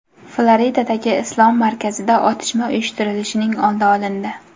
Floridadagi islom markazida otishma uyushtirilishining oldi olindi.